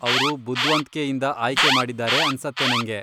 ಅವ್ರು ಬುದ್ವಂತ್ಕೆಯಿಂದ ಆಯ್ಕೆ ಮಾಡಿದಾರೆ ಅನ್ಸತ್ತೆ ನಂಗೆ.